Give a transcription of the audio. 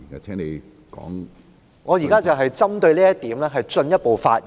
主席，我現正針對此論點進一步發言。